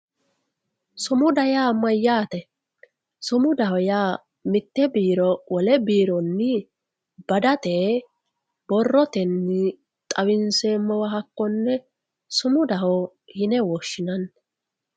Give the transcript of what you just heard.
Sumuda yaa mayyate, sumudaho yaa mite biironi wole biiro badate borrotenni xawinseemmowa hakkone sumudaho yine woshshinanni.